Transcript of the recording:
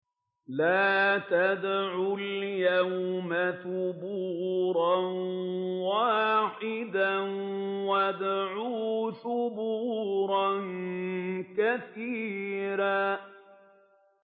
لَّا تَدْعُوا الْيَوْمَ ثُبُورًا وَاحِدًا وَادْعُوا ثُبُورًا كَثِيرًا